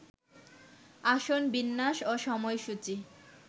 আসন বিন্যাস ও সময়সূচি